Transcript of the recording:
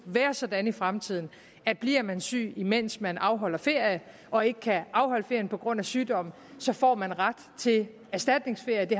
være sådan i fremtiden at bliver man syg mens man afholder ferie og ikke kan afholde ferie på grund af sygdom får man ret til erstatningsferie